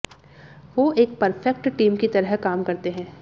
वो एक perfect team की तरह काम करते हैं